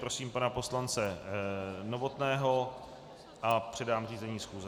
Prosím pana poslance Novotného a předám řízení schůze.